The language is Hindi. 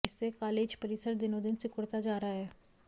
इससे कालेज परिसर दिनोंदिन सिकुड़ता जा रहा है